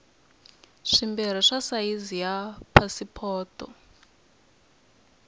swimbirhi swa sayizi ya pasipoto